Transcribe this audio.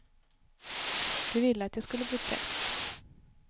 De ville att jag skulle bli präst.